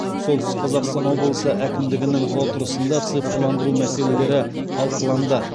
солтүстік қазақстан облысы әкімдігінің отырысында цифрландыру мәселелері талқыланды